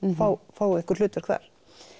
fá fá einhver hlutverk þar